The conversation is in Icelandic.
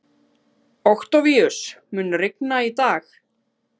Októvíus, mun rigna í dag?